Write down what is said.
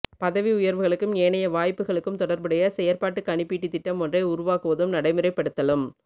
பதவி உயர்வுகளுக்கும் ஏனைய வாய்ப்புக்களுக்கும் தொடர்புடைய செயற்பாட்டுக் கணிப்பீட்டுத் திட்டம் ஒன்றை உருவாக்குவதும் நடைமுறைப்படுத்தலும்